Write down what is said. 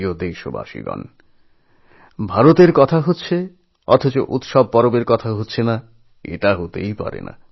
আমার প্রিয় দেশবাসী ভারতের কথা হবে আর তার পুজোপার্বণের কথা হবে না তা তো হয় না